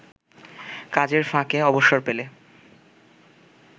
কাজের ফাঁকে অবসর পেলে